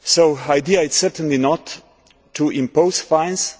helpful. The idea is certainly not to impose